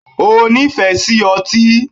O nífẹ̀ẹ́ sí otí?